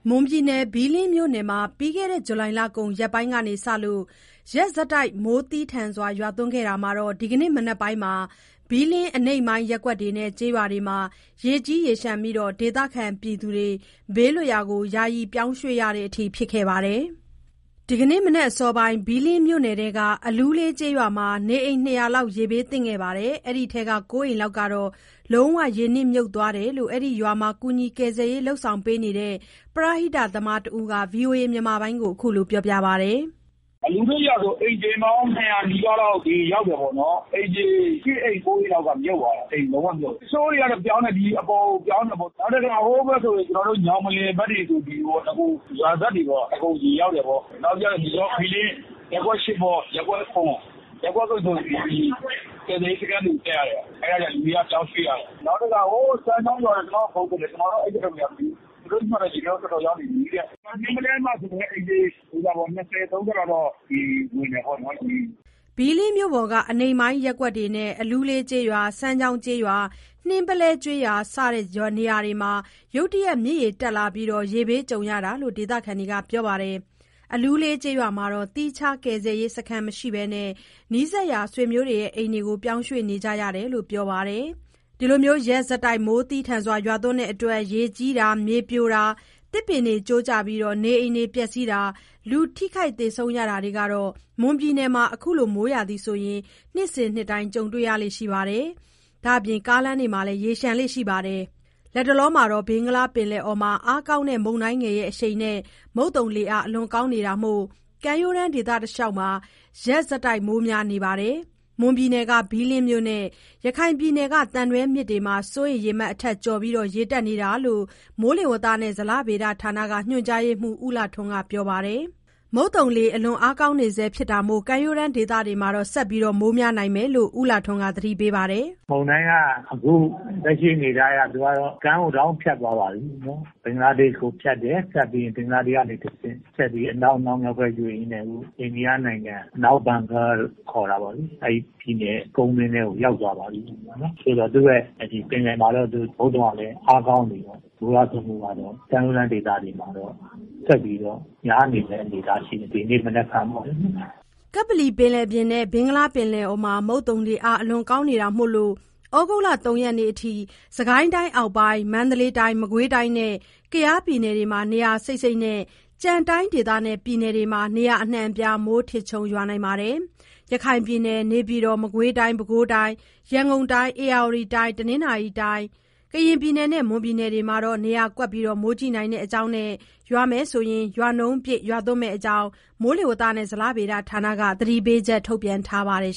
မွန်ပြည်နယ် ဘီးလင်းမြို့နယ်မှာ ပြီးခဲ့တဲ့ ဇူလိုင်လကုန် ရက်ပိုင်းတွေကစလို့ ရက်ဆက် မိုးသည်းထန်နေတာမှာ ဒီကနေ့ မနက်ပိုင်းမှာတော့ ဘီးလင်း အနိမ့်ပိုင်း ရပ်ကွက်တွေနဲ့ ကျေးရွာတွေမှာ ရေကြီးရေလျှံပြီး ဒေသခံတွေ ဘေးလွတ်ရာကို ယာယီ ပြောင်းရွှေ့ရတဲ့အထိ ဖြစ်နေတာပါ။ ဒီနေ့ မနက်အစောပိုင်း ဘီးလင်းမြို့နယ်ထဲက အလူးလေး ကျေးရွာမှာ နေအိမ် ၂၀၀ လောက်က ရေဘေးသင့်နေပြီး အဲ့ဒီထဲက ၉ အိမ်လောက် ကတော့ လုံးဝ ရေမြှုပ်သွားတယ်လို့ အဲ့ဒီရွာမှာ ကူညီ ကယ်ဆယ်ရေးလုပ်နေတဲ့ ပရဟိတသမားတဦးက ဗွီအိုအေကို ခုလို ပြောပါတယ်။ “အလူးလေးရွာဆိုရင် အိမ်ခြေပေါင်း ၂၀၀ နီးပါးလောက် ရေရောက်တယ်ပေါ့နော်။ အိမ်ခြေ ၈ အိမ် ၉ အိမ်လောက်က မြှုပ်သွားတယ်။ အိမ်လုံးဝမြှုပ်တာ။ တချို့တွေက ပြောင်းတယ်။ ဒီအပေါ်ကို ပြောင်းတယ်ပေါ့။ နောက်တခါ ဟိုဘက်ဆိုရင် ကျနော်တို့ ညောင်ပင်ဘက်တွေပေ့ါ။ ရွာစပ်တွေပေ့ါ။ အကုန် ရေရောက်တယ်ပေါ့။ နောက်… ဘီးလင်း ရပ်ကွက် ၊ ရပ်ကွက် ။ ရပ်ကွက် ဆိုရင် ကယ်ဆယ်ရေးစခန်းကို တက်ရတယ်။ အဲ့ဒါတွေ လူတွေက ပြောင်းရွှေ့ရတယ်။ နောက်တခါ ဟို…စမ်းချောင်းရွာဆိုရင် ကျနော့်ကို ဖုန်းဆက်တယ်။ ကျနော်က ရောက်တော့ မရောက်သေးဘူး။ သူတို့မှာလည်း ရေက တော်တော်ရောက်နေပြီတဲ့။ နှင်းပုလဲမှာဆိုလည်း အိမ်ခြေ ၂၀ ၊ ၃၀ လောက် ရေဝင်တယ်ပေါ့နော်။” ဘီးလင်းမြို့ပေါ်က အနိမ့်ပိုင်း ရပ်ကွက်တွေနဲ့ အလူးလေးကျေးရွာ၊ စမ်းချောင်းကျေးရွာ၊ နှင်းပုလဲကျေးရွာ စတဲ့ နေရာတွေမှာ ရုတ်တရက် မြစ်ရေတက်လာပြီး ရေဘေး ကြုံကြရတာလို့လည်း ဒေသခံတွေက ပြောပါတယ်။ အလူးလေး ကျေးရွာမှာတော့ သီးခြား ကယ်ဆယ်ရေး စခန်းမရှိဘဲ နီးစပ်ရာ ဆွေမျိုးအိမ်တွေကို ပြောင်းရွှေ့နေကြရတယ်လို့ ပြောပါတယ်။ ရက်ဆက် မိုးသည်းထန်လို့ ရေကြီးတာ၊ မြေပြိုတာ၊ သစ်ပင်တွေ ကျိုးကျပြီး နေအိမ်တွေ ပျက်စီးတာ၊ လူထိခိုက် သေဆုံးရတာတွေ ကတော့ မွန်ပြည်နယ်မှာ ခုလို မိုးရာသီဆိုရင် နှစ်စဉ်နေ့တိုင်း ကြုံတွေ့နေရတဲ့အပြင် ကားလမ်းတွေလည်း ရေလျှံလေ့ ရှိပါတယ်။ ဘင်္ဂလားပင်လယ်အော်မှာ အားကောင်းတဲ့ မုန်တိုင်းငယ်အရှိန်နဲ့ မုတ်သုံလေအား အလွန်ကောင်းနေတာမို့ ကမ်းရိုးတန်း ဒေသတလျှောက်မှာ ရက်ဆက် မိုးများနေပြီး မွန်ပြည်နယ်က ဘီးလင်းမြစ်နဲ့ ရခိုင်ပြည်နယ်က သံတွဲမြစ်တွေမှာ စိုးရိမ်ရေမှတ်အထက် ကျော်ပြီး ရေတက် နေတာလို့ မိုးလေဝသနဲ့ ဇလဗေဒဌာနက ညွှန်ကြားရေးမှူး ဦးလှထွန်းက ပြောပါတယ်။ မုတ်သုံလေအား အလွန် ကောင်းနေဆဲ ဖြစ်တာမို့ ကမ်းရိုးတန်းဒေသတွေမှာ ဆက်ပြီး မိုးများနေဦးမယ်လို့လည်း ဦးလှထွန်းက သတိပေးပါတယ်။ “မုန်တိုင်းက အခု လက်ရှိအနေအထားအရ သူကတော့ ကမ်းကိုတော့ ဖြတ်သွားပါပြီနော်။ ဘင်္ဂလားဒေ့ရှ်ကို ဖြတ်တယ်။ ဖြတ်ပြီးရင် ဘင်္ဂလာဒေ့ရှ်ကနေ တဆင့် ဆက်ပြီး အနောက်မြောက်ဘက် ရွေ့ ရွေ့ရင်းနဲ့ အခု အိန္ဒိယနိုင်ငံ၊ အနောက် ဘင်္ဂလားတို့ ခေါ်တာပေါ့လေ။ အဲ့ဒီပြည်နယ် ကုန်းတွင်းထဲကို ရောက်သွားပါပြီနော်။ သို့သော် သူ့ရဲ့ ပင်လယ်မှာတော့ မုတ်သုံကလည်း အားကောင်းနေတယ်ပေါ့။ မိုးရွာသွန်းမှုက ကမ်းရိုးတန်း ဒေသတွေမှာတော့ ဆက်ပြီးတော့ များနေမယ့် အနေအထားရှိတယ်။ ဒီနေ့ နဲ့ မနက်ဖြန်ပေါ့။” ကပ္ပလီပင်လယ်ပြင်နဲ့ ဘင်္ဂလားပင်လယ်အော်မှာ မုတ်သုံလေအားအလွန်ကောင်းနေတာမို့ သြဂုတ် ၃ ရက် မနက်ဖြန်အထိ စစ်ကိုင်းတိုင်း အောက်ပိုင်း၊ မန္တလေးတိုင်း၊ မကွေးတိုင်းနဲ့ ကယားပြည်နယ်တွေမှာ နေရာ စိပ်စိပ်နဲ့ ကျန်တိုင်းဒေသနဲ့ ပြည်နယ်တွေမှာ နေရာအနှံ့အပြား မိုးထစ်ချုန်း ရွာပြီး ရခိုင်ပြည်နယ်၊ နေပြည်တော်၊ မကွေးတိုင်း၊ ပဲခူးတိုင်၊ ရန်ကုန်တိုင်း၊ ဧရာဝတီတိုင်း၊ တနင်္သာရီတိုင်း၊ ကရင်ပြည်နယ်နဲ့ မွန်ပြည်နယ် တို့မှာတော့ နေရာကွက် မိုးကြီးနိုင်တဲ့အကြောင်း နဲ့ ရွာရင် ရာနှုန်းပြည့် ရွာသွန်းမယ့်အကြောင်း မိုးဇလဌာနက သတိပေးချက် ထုတ်ပြန်ထားပါတယ်